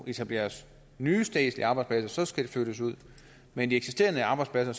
etableres nye statslige arbejdspladser skal de flyttes ud men de eksisterende arbejdspladser